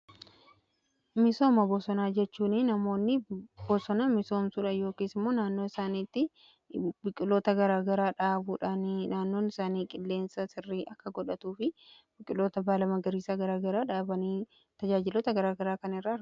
Misooma bosonaa jechuun namoonni bosonaa misoomsudha yookiis immoo naannoo saaniitti biqiloota garaagaraa dhaabuudhaanii naannoon isaanii qilleensa sirrii akka godhatuu fi biqiloota baala magariisaa garaagaraa dhaaqanii tajaajilota garaagaraa kan irra